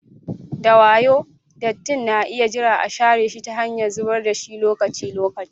Da wayo, dattin na iya jira a share shi ta hanyar zubar da shi lokaci-lokaci.